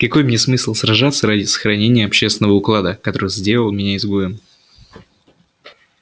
какой мне смысл сражаться ради сохранения общественного уклада который сделал меня изгоем